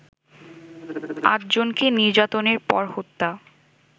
আটজনকে নির্যাতনের পর হত্যা